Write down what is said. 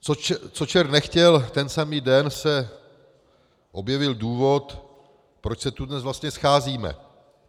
Co čert nechtěl, ten samý den se objevil důvod, proč se tu dnes vlastně scházíme.